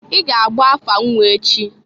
I ga-agba afa nnwa echi!